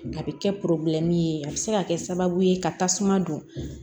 A bɛ kɛ ye a bɛ se ka kɛ sababu ye ka tasuma don